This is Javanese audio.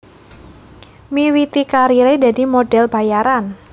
Miwiti kariré dadi model bayaran